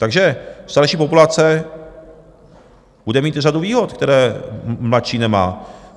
Takže starší populace bude mít řadu výhod, které mladší nemá.